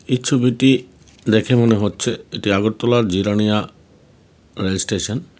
এই ছবিটি দেখে মনে হচ্ছে এটি আগরতলার জিরাণীয়া রেলস্টেশন .